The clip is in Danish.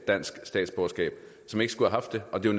dansk statsborgerskab som ikke skulle haft det og det er